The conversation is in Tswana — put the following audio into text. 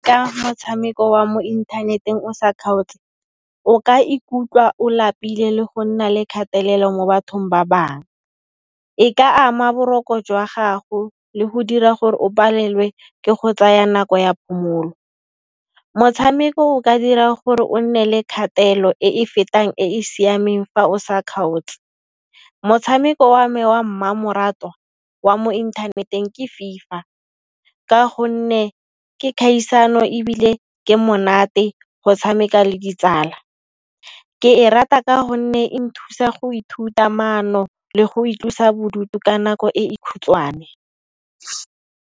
Ka motshameko wa mo inthaneteng o sa kgaotse, o ka ikutlwa o lapile le go nna le kgatelelo mo bathong ba bang. E ka ama boroko jwa gago le go dira gore o palelwe ke go tsaya nako ya phomolo. Motshameko o ka dira gore o nne le kgatelo e e fetang e e siameng fa o sa kgaotse. Motshameko wa me wa mmamoratwa wa mo inthaneteng ke FIFA ka gonne ke khaisano ebile ke monate go tshameka le ditsala. Ke e rata ka gonne e nthusa go ithuta maano le go itlosa bodutu ka nako e e khutshwane.